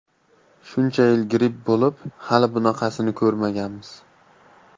Shuncha yil gripp bo‘lib, hali bunaqasini ko‘rmaganmiz.